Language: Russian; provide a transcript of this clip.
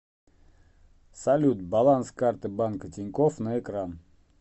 салют баланс карты банка тинькофф на экран